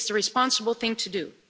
It is the responsible thing to do.